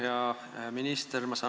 Hea minister!